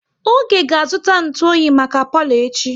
Oge ga azụta ntụ oyi maka palo echi